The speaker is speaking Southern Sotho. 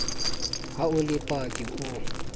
ha o le paki o